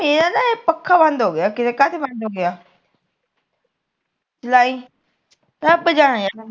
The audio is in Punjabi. ਇਹ ਮੇਰਾ ਤਾਂ ਪੱਖਾ ਬੰਦ ਹੋਗਿਆ ਲਈ ਰੱਬ ਜਾਨੇ ਯਾਰ